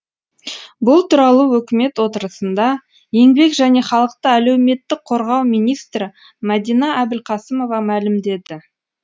бұл туралы үкімет отырысында еңбек және халықты әлеуметтік қорғау министрі мәдина әбілқасымова мәлімдеді